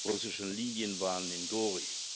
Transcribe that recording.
russischen Linien waren, in Gori.